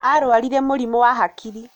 Ararwarire mũrimũ wa hakiri.